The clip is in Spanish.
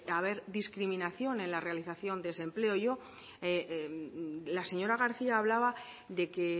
haber discriminación en la realización de ese empleo la señora garcía hablaba de que